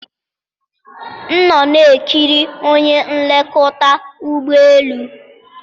m nọ na-ekiri onye nlekọta ụgbọ elu.